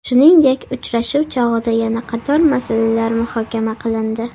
Shuningdek, uchrashuv chog‘ida yana qator masalalar muhokama qilindi.